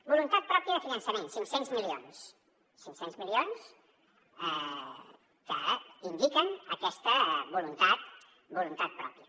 voluntat pròpia de finançament cinc cents milions cinc cents milions que indiquen aquesta voluntat pròpia